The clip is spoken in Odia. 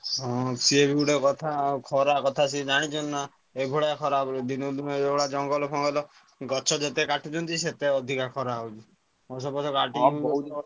ହଁ ସିଏବି ଗୋଟେ କଥା ଆଉ ଖରା କଥା ସିଏ ଜାଣିଛନ୍ତି ନା ଏଇଭଳିଆ ଖରା ହବ ବୋଲି ଦିନକୁ ଦିନ ଏଇଭଳିଆ ଜଙ୍ଗଲ ଫଙ୍ଗଲ ଗଛ ଯେତେ କାଟୁଛନ୍ତି ସେତେ ଅଧିକା ଖରା ହଉଛି ଗଛ ଫଛ କାଟିଦଉଛନ୍ତି